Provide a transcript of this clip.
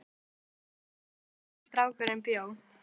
Þeir óku að húsinu þar sem strákurinn bjó.